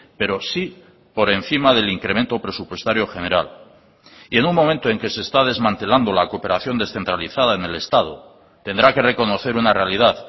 pero sí por encima del incremento presupuestario general y en un momento en que se está desmantelando la cooperación descentralizada en el estado tendrá que reconocer una realidad